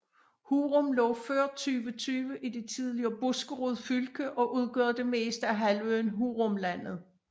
Hurum lå før 2020 i det tidligere Buskerud fylke og udgør det meste af halvøen Hurumlandet